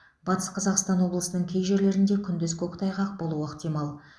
батыс қазақстан облысының кей жерлерінде күндіз көктайғақ болуы ықтимал